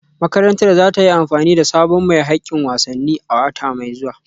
Makarantar za ta yi amfani da sabon mai hakkin wasanni a wata mai zuwa